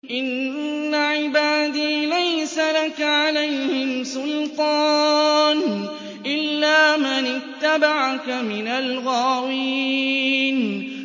إِنَّ عِبَادِي لَيْسَ لَكَ عَلَيْهِمْ سُلْطَانٌ إِلَّا مَنِ اتَّبَعَكَ مِنَ الْغَاوِينَ